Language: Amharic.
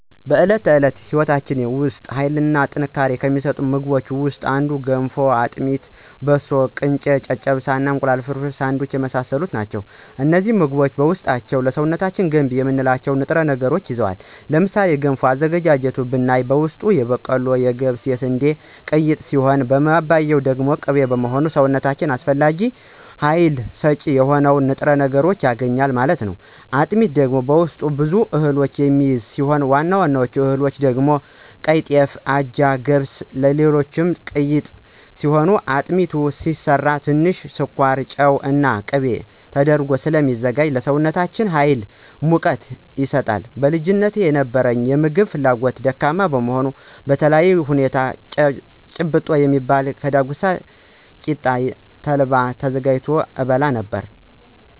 በዕለት ተዕለት ሕይወታችን ውስጥ ኃይልን እና ጥንካሬን ከሚሰጡን ምግቦች ውስጥ እንደ ገንፎ; አጥሚት; በሶ: ቅንጨ; ጨጨብሳ; እንቁላል ፍርፍር/ሳንዱች የመሳሰሉት ናቸው። እነዚህ ምግቦች በውስጣቸው ለሰውነታችን ገንቢ የምንላቸውን ንጥረ ነገሮችን ይዘዋል። ለምሳሌ ገንፎ አዘገጃጀት ብናይ በውስጡ የበቆሎ; የገብስ እና የስንዴ ቅይጥ ሲሆን ማባያው ደግሞ ቅቤ በመሆኑ ሰውነታችን አስፈላጊውን ሀይል ሰጭ የሆኑ ንጥረ ነገሮችን ያገኛል ማለት ነው። አጥሚት ደግሞ በውስጡ ብዙ እህሎችን የሚይዝ ሲሆን ዋና ዋና እህሎች ደግሞ ቀይጤፍ; አጃ; ገብስ; እና ሌሎችም ቅይጥ ሲሆን አጥሚቱ ሲሰራ ትንሽ ስኳር; ጨው እና ቂቤ ተደርጎ ስለሚዘጋጅ ለሰውነታችን ሀይል እና ሙቀትን ይሰጣል። በልጅነቴ የነበረኝ የምግብ ፍላጎት ደካማ በመሆኑ በተለየ ሁኔታ ጭብጦ የሚባል ከዳጉሳ ቂጣ እና ተልባ ተዘጋጅቶ እበላ ነበር።